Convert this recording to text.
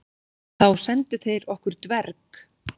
Þá sendu þeir okkur dverg.